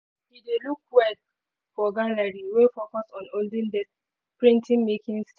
he dey look well for gallery wey focus on olden days printing making.